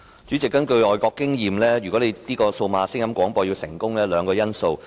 主席，根據外國的經驗，數碼廣播服務如要成功，需具備兩項因素。